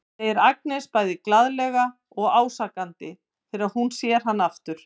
segir Agnes bæði glaðlega og ásakandi þegar hún sér hann aftur.